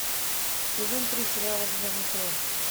сезон три сериала железный кулак